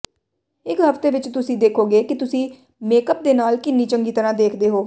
ਇੱਕ ਹਫ਼ਤੇ ਵਿੱਚ ਤੁਸੀਂ ਦੇਖੋਗੇ ਕਿ ਤੁਸੀਂ ਮੇਕਅਪ ਦੇ ਨਾਲ ਕਿੰਨੀ ਚੰਗੀ ਤਰ੍ਹਾਂ ਦੇਖਦੇ ਹੋ